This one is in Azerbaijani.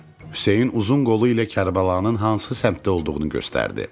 Hüseyn uzun qolu ilə Kərbəlanın hansı səmtidə olduğunu göstərdi.